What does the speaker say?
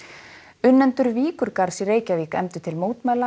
unnendur Víkurgarðs í Reykjavík efndu til mótmæla